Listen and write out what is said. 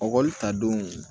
Ɔkɔli ta don